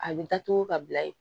A bɛ datugu ka bila yen